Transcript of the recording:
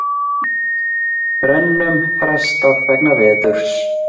Brennum frestað vegna veðurs